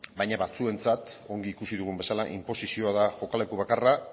baina batzuentzat ongi ikusi dugun bezala inposizioa da jokaleku bakarra